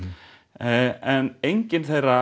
en engin þeirra